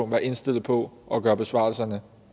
være indstillet på at gøre besvarelserne